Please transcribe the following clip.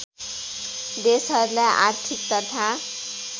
देशहरूलाई आर्थिक तथा